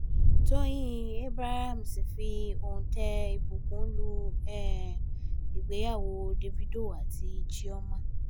tọ́yìn abrahams fi òuntẹ̀ ìbùkún lu um ìgbéyàwó davido àti chioma